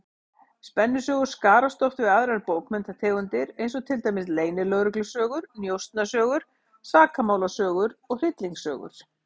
Spennusögur skarast oft við aðrar bókmenntategundir, eins og til dæmis leynilögreglusögur, njósnasögur, sakamálasögur og hryllingssögur.